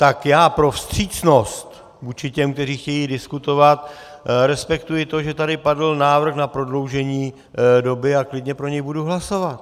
Tak já pro vstřícnost vůči těm, kteří chtějí diskutovat, respektuji to, že tady padl návrh na prodloužení doby, a klidně pro něj budu hlasovat.